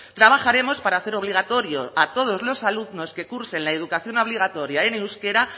trabajaremos para hacer obligatorio a todos los alumnos que cursen la educación obligatoria en euskera